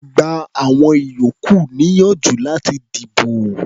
Gba àwọn ìyókù níyànjú láti dìbò.